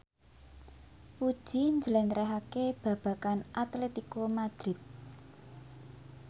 Puji njlentrehake babagan Atletico Madrid